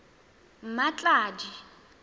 mmatladi